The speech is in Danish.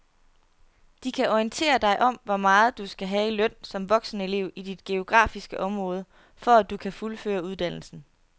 De kan orientere dig om hvor meget du skal have i løn som voksenelev i dit geografiske område, for at du kan fuldføre uddannelsen.